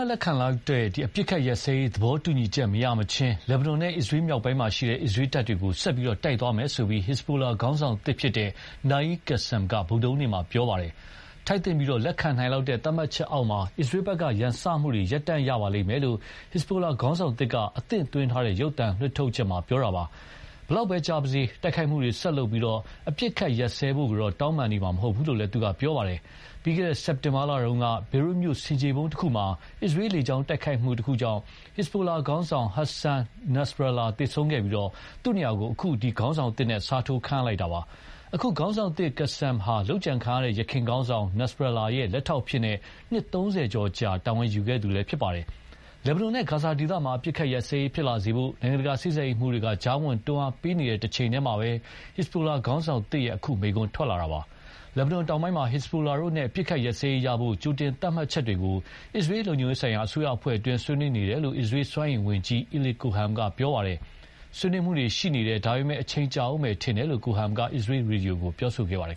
ပ်လက်ခံလောက်တဲ့ အပစ်အခတ်ရပ်စဲရေးသဘောတူညီချက်မရမချင်း လက်ဘနွန်နဲ့ အစ္စရေး မြောက်ပိုင်းမှာအစ္စရေးတပ်တွေကို ဆက်တိုက်သွားမယ်လို့ ဟက်ဇဘိုလာခေါင်းဆောင်သစ် Naim Kassem က ဗုဒ္ဓဟူးနေ့က ပြောလိုက်ပါတယ်။ ထိုက်သင့်ပြီး လက်ခံနိုင်လောက်တဲ့ သတ်မှတ်ချက် အောက်မှာ အစ္စရေးဘက်က ရန်စမှုတွေကို ရပ်တန့်ရပါလိမ့်မယ်လို့ ဟစ်ဇဘိုလာခေါင်းဆောင်သစ်က အသင့်သွင်းထားတဲ့ ရုပ်သံလွှင့်ထုတ်ချက်မှာ ပြောထားတာပါ။ ဘယ်လောက်ပဲ ကြာပါစေ တိုက်ခိုက်မှုတွေ ဆက်လုပ်ပြီး အပစ်အခတ်ရပ်စဲဖို့တော့ တောင်းပန်နေမှာ မဟုတ်ဘူးလို့လည်းသူက ပြောပါတယ်။ ပြီးခဲ့တဲ့ စက်တင်ဘာလတုန်းက ဘေရွတ်မြို့ဆင်ခြေဖုံး တခုမှာ အစ္စရေးလေကြောင်းတိုက်ခိုက်မှုကြောင့် ဟက်ဇဘိုလာ ခေါင်းဆောင် Hassan Nasrallh သေဆုံးခဲ့ပြီး သူ့နေရာကို အခု ခေါင်းဆောင်သစ်နဲ့ အစားထိုးခန့်အပ်လိုက်တာပါ။ အခုခေါင်းဆောင်သစ် Kassem ဟာ လုပ်ကြံခံရတဲ့ ယခင်ခေါင်းဆောင် Nasrallah ရဲ့ လက်ထောက်အဖြစ် နှစ်သုံးဆယ်ကျော် ကြာ တာဝန်ယူခဲ့သူဖြစ်ပါတယ်။ လက်ဘနွန်နဲ့ ဂါဇာဒေသမှာ အပစ်အခတ်ရပ်စဲရေးဖြစ်လာစေဖို့ နိုင်ငံတကာစေ့စပ်ရေးမှူးတွေက ကြားဝင် တွန်းအားပေးနေတဲ့အချိန်မှာပဲ ဟက်ဇ်ဘိုလာခေါင်းဆောင်သစ်ရဲ့ အခု မိန့်ခွန်းထွက်လာတာပါ။ လက်ဘနွန်တောင်ပိုင်းမှာ ဟက်ဇဘိုလာတို့နဲ့ အပစ်အခတ်ရပ်စဲရေးရဖို့ ကြိုတင်သတ်မှတ်ချက်တွေကို အစ္စရေးလုံခြုံရေးဆိုင်ရာ အစိုးရအဖွဲ့က ဆွေးနွေးနေတယ်လို့ အစ္စရေးစွမ်းအင်ဝန်ကြီး Eli Cohen က ပြောပါတယ်။ ဆွေးနွေးမှုတွေရှိနေတယ်။ ဒါပေမယ့် အချိန်ကြာဦးမယ်ထင်တယ်လို့ Cohen က အစ္စရေးရေဒီယိုကို ပြောဆိုခဲ့ပါတယ်